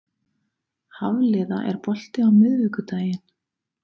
Hafliða, er bolti á miðvikudaginn?